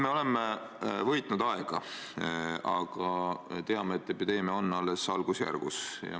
Me oleme võitnud aega, aga teame, et epideemia on alles algusjärgus.